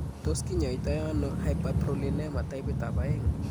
Tos kinyoitoono hyperprolinema taipit ab oeng'?